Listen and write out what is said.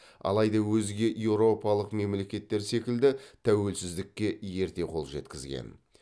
алайда өзге еуропалық мемлекеттер секілді тәуелсіздікке ерте қол жеткізген